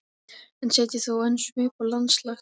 en setja þó enn svip á landslag.